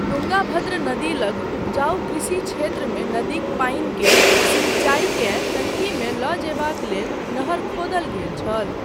तुङ्गाभद्र नदी लग उपजाऊ कृषि क्षेत्रमे नदीक पानिक सिंचाईकेँ टंकीमे लऽ जयबाक लेल नहर खोदल गेल छल।